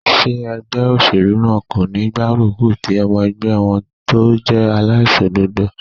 Ṣé ẹgbẹ́ óṣèlú náà kò ní gbárùkù ti ọmọ ẹgbẹ́ wọn tó jẹ́ aláìṣòdodo?